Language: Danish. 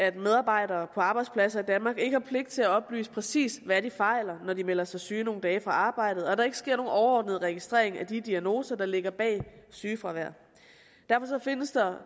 at medarbejdere på arbejdspladser i danmark ikke har pligt til at oplyse præcis hvad de fejler når de melder sig syge nogle dage på arbejdet og der ikke sker nogen overordnet registrering af de diagnoser der ligger bag sygefraværet derfor findes der